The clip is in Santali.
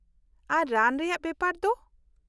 -ᱟᱨ ᱨᱟᱱ ᱨᱮᱭᱟᱜ ᱵᱮᱯᱟᱨ ᱫᱚ ?